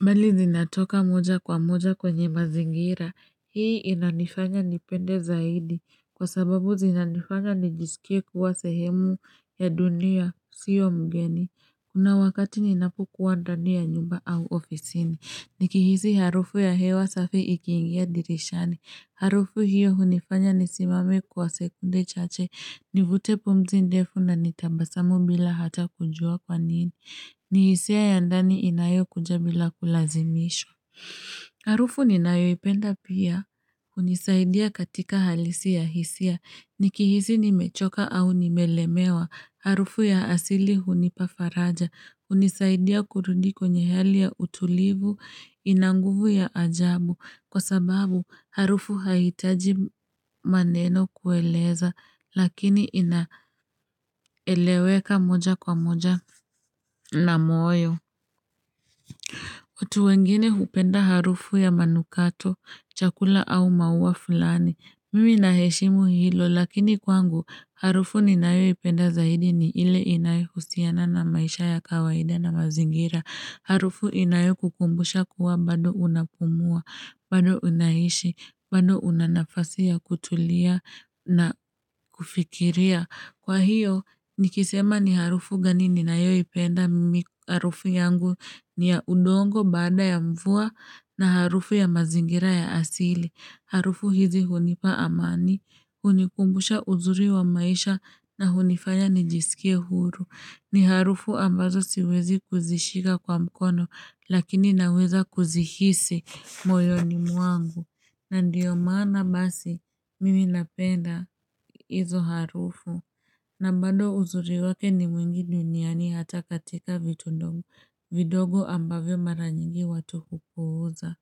Mbali zinatoka mmoja kwa mmoja kwenye mazingira. Hii inanifanya nipende zaidi kwa sababu zinanifanya nijisikie kuwa sehemu ya dunia sio mgeni. Kuna wakati ninapokuwa ndani ya nyumba au ofisini Nikihisi harufu ya hewa safi ikiingia dirishani Harufu hiyo hunifanya nisimame kwa sekunde chache Nivute pumzi ndefu na nitabasamu bila hata kujua kwa nini. Ni hisiya ya ndani inayokuja bila kulazimishwa Harufu ninayoipenda pia hunisaidia katika halisi ya hisia, nikihisi nimechoka au nimelemewa, harufu ya asili hunipa faraja, hunisaidia kurudi kwenye hali ya utulivu, ina nguvu ya ajabu, kwa sababu harufu haihitaji maneno kueleza, lakini inaeleweka moja kwa moja na moyo. Watu wengine hupenda harufu ya manukato, chakula au maua fulani, mimi naheshimu hilo lakini kwangu harufu ninayoipenda zaidi ni ile inayohusiana na maisha ya kawaida na mazingira, harufu inayokukumbusha kuwa bado unapumua, bado unaishi, bado unanafasi ya kutulia na kufikiria. Kwa hiyo, nikisema ni harufu gani ninayoipenda mimi harufu yangu ni ya udongo baada ya mvua, na harufu ya mazingira ya asili. Harufu hizi hunipa amani, hunikumbusha uzuri wa maisha na hunifanya nijisikie huru. Ni harufu ambazo siwezi kuzishika kwa mkono lakini naweza kuzihisi moyoni mwangu. Na ndiyo maana basi mimi napenda hizo harufu. Na bado uzuri wake ni mwingi duniani hata katika vitu vidogo ambavyo mara nyingi watu hupuuza.